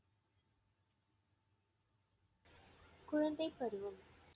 குழந்தைப் பருவம்